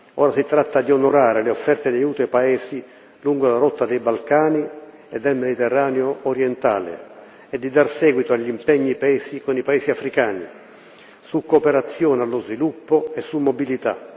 Ora si tratta di onorare le offerte di aiuto ai paesi lungo la rotta dei Balcani e del Mediterraneo orientale e di dar seguito agli impegni presi con i Paesi africani su cooperazione allo sviluppo e su mobilità.